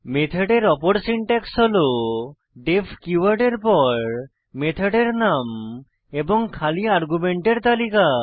মেথডের অপর সিনট্যাক্স হল ডিইএফ কীওয়ার্ড এর পর মেথডের নাম এবং খালি আর্গুমেন্টের তালিকা